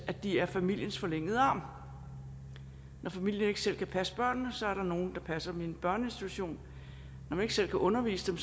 at de er familiens forlængede arm når familien ikke selv kan passe børnene er der nogle der passer dem i en børneinstitution når man ikke selv kan undervise dem